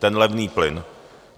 Ten levný plyn.